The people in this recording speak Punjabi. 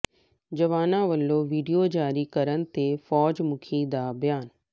ਜਵਾਨਾਂ ਵਲੋਂ ਵੀਡੀਓ ਜਾਰੀ ਕਰਨ ਤੇ ਫੌਜ ਮੁੱਖੀ ਦਾ ਬਿਆਨ